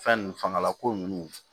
Fɛn nun fangala ko ninnu